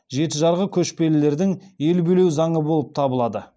жеті жарғы көшпелілердің ел билеу заңы болып табылады